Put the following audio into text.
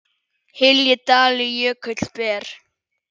hylji dali jökull ber